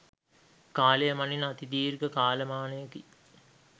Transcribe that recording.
කාලය මනින අති දීර්ඝ කාලමානයකි.